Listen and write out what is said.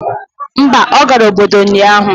Mba, ọ gara obodo ụnyahụ.